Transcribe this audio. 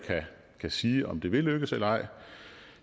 kan sige om det vil lykkes eller ej